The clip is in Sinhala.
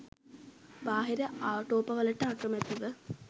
බාහිර ආටෝපවලට අකැමැතිව